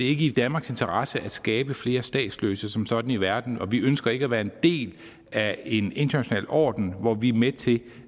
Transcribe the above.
ikke i danmarks interesse at skabe flere statsløse som sådan i verden og vi ønsker ikke at være en del af en international orden hvor vi er med til